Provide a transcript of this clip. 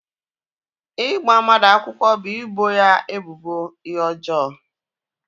Ịgba mmadụ akwụkwọ bụ ịbọ ya ebubo ihe ọjọọ